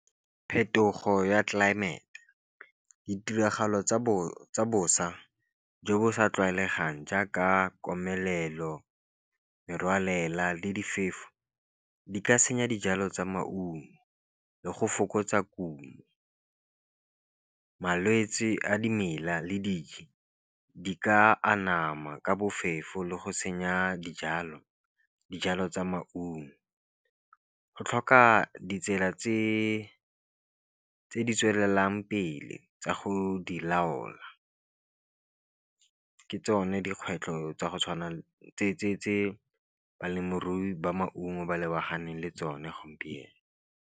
Phetogo ya tlelaemete ditiragalo tsa bosa jo bo sa tlwaelegang jaaka komelelo, merwalela, le diphefo di ka senya dijalo tsa maungo le go fokotsa kumo. Malwetse a dimela le dijo di ka anama ka bofefo, le go senya dijalo tsa maungo. Go tlhoka ditsela tse di tswelelang pele tsa go di laola, ke tsone dikgwetlho tsa go tse balemirui ba maungo ba lebaganeng le tsone gompieno.